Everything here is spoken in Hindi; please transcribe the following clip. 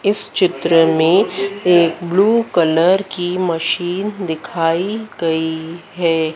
इस चित्र में एक ब्लू कलर की मशीन दिखाई गई हैं।